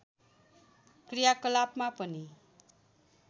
क्रियाकलापमा पनि